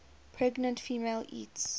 pregnant female eats